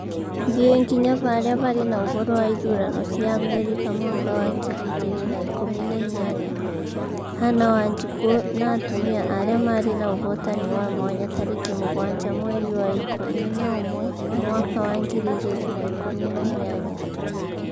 thiĩ nginya haria haĩ uhoro wa ithurano cia Amerika mwaka wa ngiri igĩrĩ na ikumi na inyanya: hannah wanjiku na atumia arĩa marĩ naũhotani wa mwanya tarĩki mũgwanja mweri wa ikũmi na ũmwe mwaka wa ngiri igĩrĩ na ikũmi na inyanya